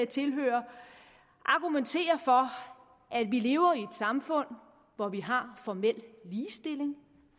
tilhører argumenterer for at vi lever i et samfund hvor vi har formel ligestilling